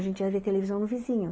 A gente ia ver televisão no vizinho.